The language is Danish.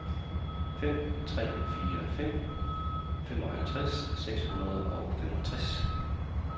fem tre fire fem femoghalvtreds seks hundrede og femogtres